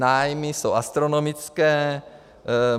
Nájmy jsou astronomické.